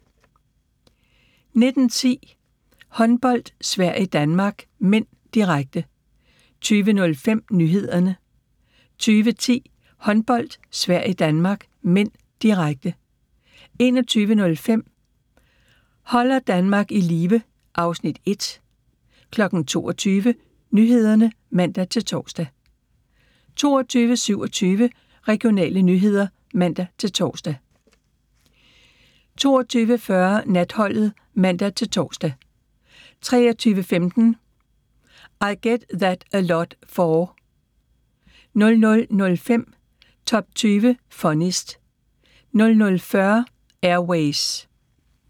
19:10: Håndbold: Sverige-Danmark (m), direkte 20:05: Nyhederne 20:10: Håndbold: Sverige-Danmark (m), direkte 21:05: Holder Danmark i live (Afs. 1) 22:00: Nyhederne (man-tor) 22:27: Regionale nyheder (man-tor) 22:40: Natholdet (man-tor) 23:15: I Get That A Lot 4 00:05: Top 20 Funniest 00:40: Air Ways